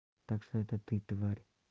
так что это ты тварь